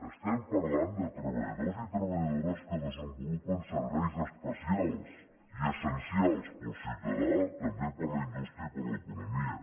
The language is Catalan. estem parlant de treballadors i treballadores que desenvolupen serveis especials i essencials per al ciutadà també per a la indústria i per a l’economia